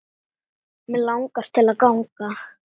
Mig langaði til að ganga